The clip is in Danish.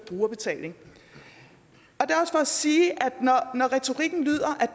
brugerbetaling og at sige når retorikken lyder at